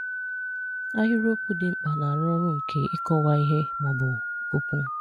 Ahịrịokwu dị mkpa na-arụ ọrụ nke ịkọwa ihe ma ọ bụ okwu.